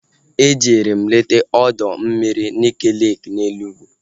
Ejere m leta ọdọ mmiri Nike leeki na Enugwu